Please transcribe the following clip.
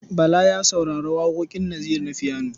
Bala ya saurari waƙoƙin Naziru na fiyano.